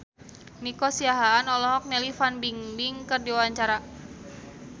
Nico Siahaan olohok ningali Fan Bingbing keur diwawancara